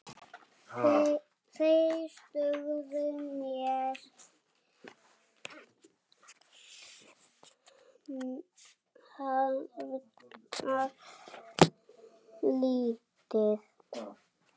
Þeir dugðu mér harla lítið.